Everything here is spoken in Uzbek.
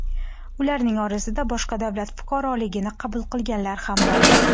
Ularning orasida boshqa davlat fuqaroligini qabul qilganlar ham bor.